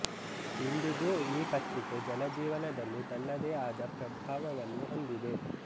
ಇಂದಿಗೂ ಈ ಪತ್ರಿಕೆ ಜನಜೀವನದಲ್ಲಿ ತನ್ನದೇ ಆದ ಪ್ರಭಾವವನ್ನು ಹೊಂದಿದೆ